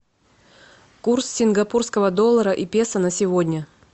курс сингапурского доллара и песо на сегодня